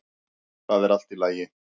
ÞAÐ ER ALLT Í LAGI!